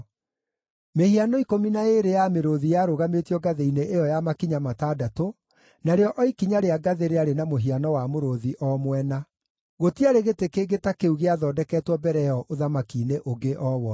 Mĩhiano ikũmi na ĩĩrĩ ya mĩrũũthi yarũgamĩtio ngathĩ-inĩ ĩyo ya makinya matandatũ, narĩo o ikinya rĩa ngathĩ rĩarĩ na mũhiano wa mũrũũthi o mwena. Gũtiarĩ gĩtĩ kĩngĩ ta kĩu gĩathondeketwo mbere ĩyo ũthamaki-inĩ ũngĩ o wothe.